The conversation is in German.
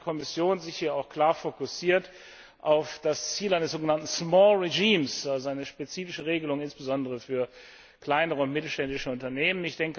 Deswegen hat die Kommission sich hier auch klar fokussiert auf das Ziel eines sogenannten small regimes also eine spezifische Regelung insbesondere für kleine und mittelständische Unternehmen.